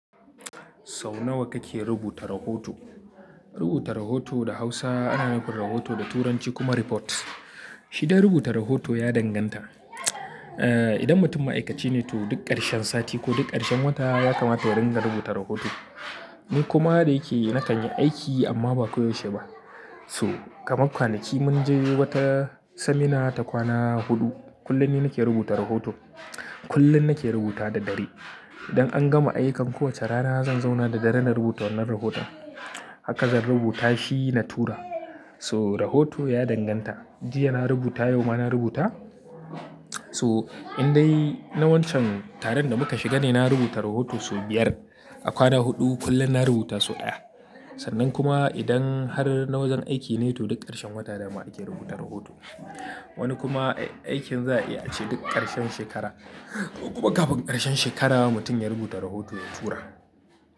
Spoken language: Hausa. Sau nawa kake rubuta rahoto? Rubuta rahoto da Hausa ana nufin kuma da Turanci reports. Shi dai rubuta rahoto ya danganta. Idan mutum ma'aikaci ne to duk ƙarshen sati ko duk ƙarshen wata ya kamata ya ringa rubuta rahoto. Ni kuma da yake yana kan yi aiki amma ba koyaushe ba. So kamar kwanaki mun je wata seminar ta kwana huɗu, kullum ni nake rubuta rahoto. Kullum nake rubuta da dare. Idan an gama ayyukan kowacce rana zan zauna da dare na rubuta wannan rahotan. Haka zan rubuta shi na tura. So rahoto ya danganta. Jiya na rubuta, yau ma na rubuta. So in dai na wancan taron da muka shiga ne, na rubuta rahoto sau biyar. A kwana huɗu kullum na rubuta sau ɗaya. Sannan kuma idan har na wajen aiki ne to duk ƙarshen wata da ma ake rubuta rahoto. Wani kuma aikin za a iya ci duk ƙarshen shekara ko kuma kafin ƙarshen shekara mutum ya rubuta rahoto ya tura.